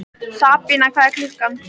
Sabína, hvað er klukkan?